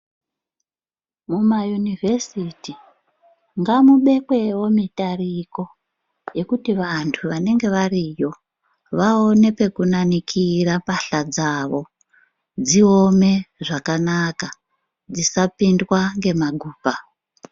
Mumayunivhesiti ngamubekwewo mitariko, yekuti vantu vanenge variyo, vaone pekunanikira pahla dzavo, dziome zvakanaka, dzisapindwa ngemagupa.